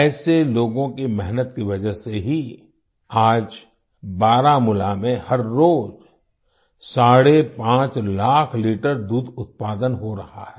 ऐसे लोगों की मेहनत की वजह से ही आज बारामूला में हर रोज साढ़े 5 लाख लीटर दूध उत्पादन हो रहा है